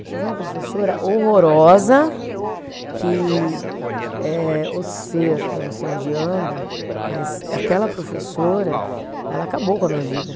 Eu tive uma professora horrorosa, que eh o ser, que eu não sei onde anda, mas aquela professora, ela acabou com a minha vida.